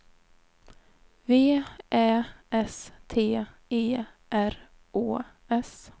V Ä S T E R Å S